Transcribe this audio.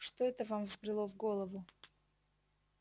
что это вам взбрело в голову